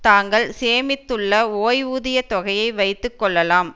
தாங்கள் சேமித்துள்ள ஓய்வூதிய தொகையை வைத்து கொள்ளலாம்